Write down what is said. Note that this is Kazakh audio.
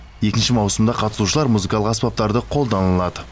екінші маусымда қатысушылар музыкалық аспаптарды қолдана алады